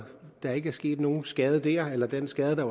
der ikke er sket nogen skade der eller at den skade der